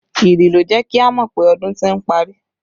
Ìrì ló jẹ́ kí a mọ pé ọdún ti ń parí